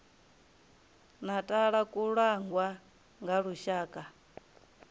natala ku langwa nga lushaka